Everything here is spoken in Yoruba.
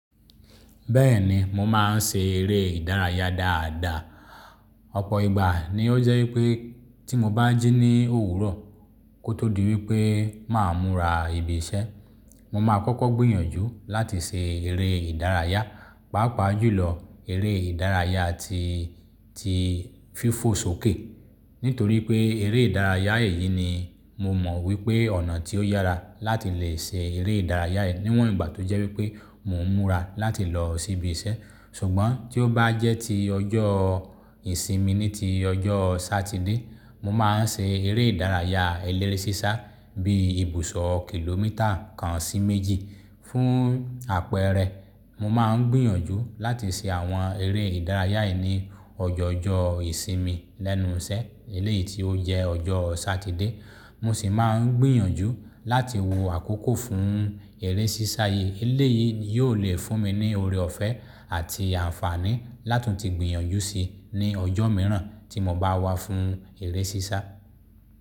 Bẹ́ẹ̀ni, mo máa ń ṣe eré ìdárayá dáadáa. Ọ̀pọ̀ ìgbà ni ó jẹ́ wípé tí mo bá jí ní òwúrọ̀ kó tó di wípé máa múra ibi iṣẹ́, mo máa kọ́kọ́ gbìyànjú láti ṣe eré ìdárayá, pàápàá jùlọ eré ìdárayá tí, tí fífò sókè. Nítorí pé eré ìdárayá èyí ni mo mọ̀ wípé ọ̀nà tí ó yára láti lè ṣe eré ìdárayá níwọ̀n ìgbà tó jẹ́ wípé mò ń múra láti lọ sí ibi iṣẹ́. Ṣùgbọ́n tí ó bá jẹ́ ti ọjọ́ ìsinmi, ní ti ọjọ́ Satide, mo máa ń ṣe eré ìdárayá eléré sísá bí ibùsọ̀ kìlómítà kan sí méjì. Fún àpẹẹrẹ, mo máa ń gbìyànjú láti ṣe àwọn eré ìdárayá yìí ní ọjọọjọ ìsinmi lẹ́nu iṣẹ́, eléyìí tí ó jẹ́ ọjọ́ Satide. Mo sì máa ń gbìyànjú láti wo àkókò fún eré sísá yìí. Eléyìí yóò le fún mi ní oore ọ̀fẹ́ àti àǹfààní látùn-ti gbìyànjú sí ní ọjọ́ mìíràn tí mo bá wá fún eré sísá.